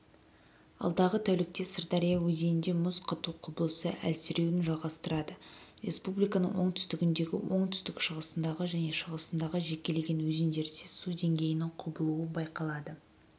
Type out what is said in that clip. алдағы тәулікте сырдария өзенінде мұз қату құбылысы әлсіреуін жалғастырады республиканың оңтүстігіндегі оңтүстік-шығысындағы және шығысындағы жекелеген өзендерде су деңгейінің құбылуы байқалады